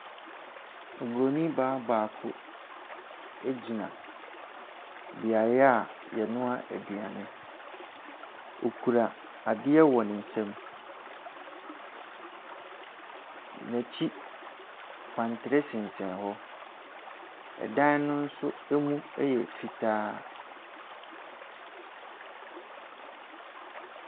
Ɔbronin baa baako agyina beaeɛ a yɛnoa aduane, okura adeɛ wɔ ne nsam. N’akyi, kwantere sensan hɔ. Dan no nso ɛmu ɛyɛ fitaa.